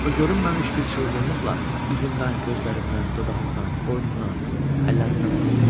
O görünməmiş bir çılğınlıqla üzümdən, gözlərimdən, dodağımdan, boynumdan, əllərimdən öpdü.